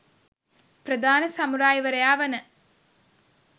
ප්‍රධාන සමුරායි වරයා වන